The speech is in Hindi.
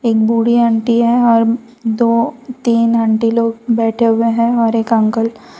एक बूढ़ी आंटी है और दो तीन आंटी लोग बैठे हुए हैं और एक अंकल --